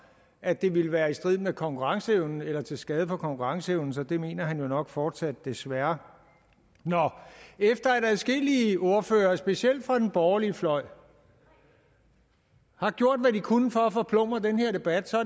at det ville være i strid med konkurrenceevnen eller til skade for konkurrenceevnen så det mener han jo nok fortsat desværre efter at adskillige ordførere specielt fra den borgerlige fløj har gjort hvad de kunne for at forplumre den her debat